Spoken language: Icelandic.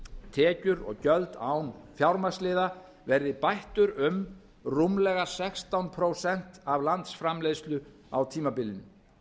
tekjur og gjöld án fjármagnsliða verði bættur um rúmlega sextán prósent af landsframleiðslu á tímabilinu